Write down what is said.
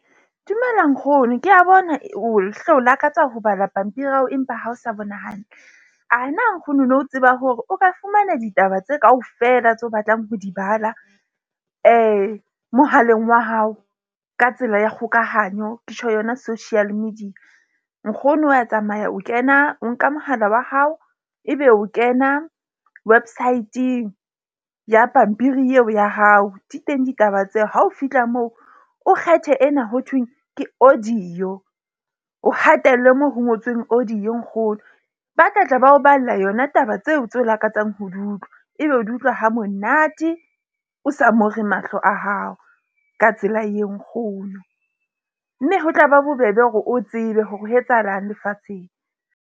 Dumela nkgono ke a bona o hle o lakatsa ho bala pampiri ao empa ha o sa bona hantle. Ana nkgono no tseba hore o ka fumana ditaba tse kaofela tseo o batlang ho di bala mohaleng wa hao ka tsela ya kgokahanyo. Ke tjho yona social media? Nkgono wa tsamaya o kena, o nka mohala wa hao, ebe o kena websaeteng ya pampiri eo ya hao. Di teng ditaba tseo ha o fihla moo o kgethe ena ho thweng ke audio. O hatelle moo ho ngotsweng audio nkgono. Ba tla tla ba o balla yona taba tseo tse o lakatsang ho di utlwa, ebe o di utlwa ha monate, o sa mo re mahlo a hao. Ka tsela e nkgono mme ho tla ba bobebe hore o tsebe hore ho etsahalang lefatsheng.